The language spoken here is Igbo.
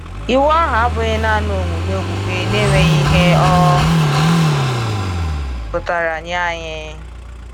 Iwu ahụ abụghị naanị omume okpukpe na-enweghị ihe ọ pụtara nye anyị.